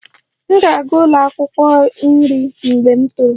M ga-aga ụlọ akwụkwọ nri mgbe m toro